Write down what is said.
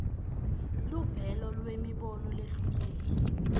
luvelo lwemibono lehlukene